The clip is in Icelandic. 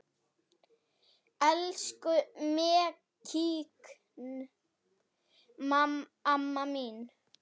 Elsku Mekkín amma mín.